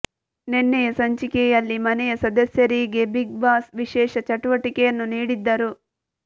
ನೆನ್ನೆಯ ಸಂಚಿಕೆಯಲ್ಲಿ ಮನೆಯ ಸದಸ್ಯರಿಗೆ ಬಿಗ್ ಬಾಸ್ ವಿಶೇಷ ಚಟುವಟಿಕೆಯನ್ನು ನೀಡಿದ್ದರು